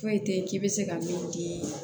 Foyi tɛ ye k'i bɛ se ka min di